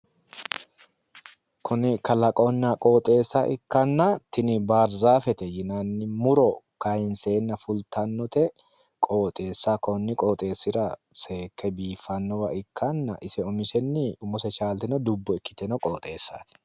Kuni kalqonna qooxeessa ikkanna, tini baarzaafete yinanni muro kaayiinseenna fultannote qooxeessaho konni qooxeessira seekke biiffannowa ikkanna ise umisenni umose chaalte dubbo ikkitino qooxeessaati.